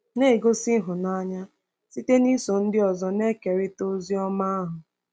Na-egosi ịhụnanya site n’iso ndị ọzọ na-ekerịta ozi ọma ahụ